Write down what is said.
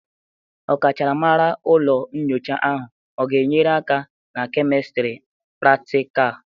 Ọkachamara ụlọ nyocha ahụ ọ ga-enyere aka na kemistri pratịkal?